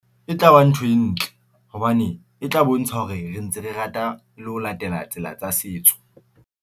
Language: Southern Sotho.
E tla ba ntho e ntle hobane e tla bontsha hore re ntse re rata le ho latela tsela tsa setso.